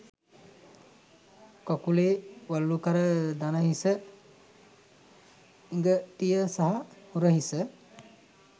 කකුලේ වළලුකර දණහිස ඉඟටිය සහ උරහිස